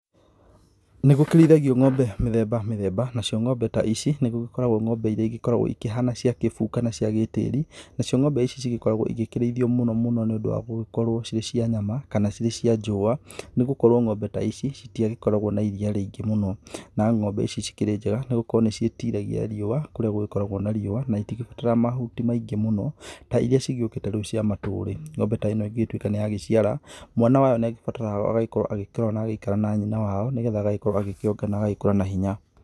Nĩ gũkĩrĩithagio ng'ombe mĩthemba mĩthemba nacio ng'ombe ta ici nĩ gũgĩkoragwo ng'ombe iria ikoragwo ikihana cia kĩbuu kana cia gĩtĩri. Nacio ng'ome ici ikoragwo igĩkĩrĩithio mũno mũno nĩ ũndũ wa gũgĩkorwo cirĩ cia nyama kana cirĩ cia njũa. Nĩ gũkorwo ng'ombe ta ici itiakoragwo na iria rĩingĩ mũno. Na ng'ombe ici cikĩrĩ njega nĩ gũkorwo nĩ ciĩtiragia riũa kũrĩa gũgĩkoragwo na riũa. Na itigĩbataraga mahuti maingĩ mũno ta iria cigĩũkĩte rĩu cia matũrĩ. Ng'ombe ta ĩno ĩngĩtuĩka nĩ ya giciara mwana wayo nĩ abataraga agagĩkorwo agĩikara na nyina wao, nĩ getha agagĩkorwo agĩkĩonga na agagĩkũra na hinya.